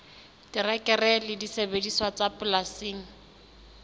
terekere le disebediswa tsa polasing